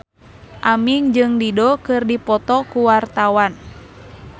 Aming jeung Dido keur dipoto ku wartawan